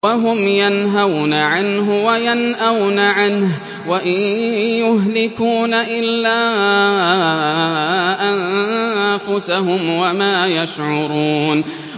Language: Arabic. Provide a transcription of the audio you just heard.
وَهُمْ يَنْهَوْنَ عَنْهُ وَيَنْأَوْنَ عَنْهُ ۖ وَإِن يُهْلِكُونَ إِلَّا أَنفُسَهُمْ وَمَا يَشْعُرُونَ